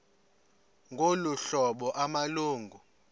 ngolu hlobo amalungu